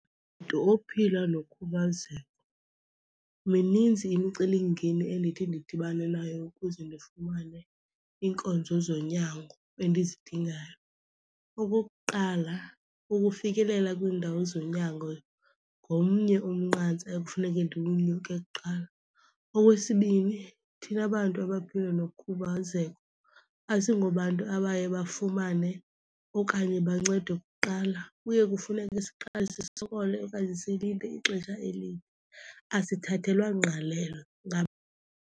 Mntu ophila nokhubazeko mininzi imicelimngeni endithi ndidibane nayo ukuze ndifumane iinkonzo zonyango endizidingayo. Okokuqala, ukufikelela kwiindawo zonyango ngomnye umnqantsa ekufuneke ndiwunyeke kuqala. Okwesibini, thina bantu abaphila nokhubazeko asingobantu abaye bafumane okanye bancedwe kuqala, kuye kufuneke siqale sisokole okanye silinde ixesha elide. Asithathelwa ngqalelo .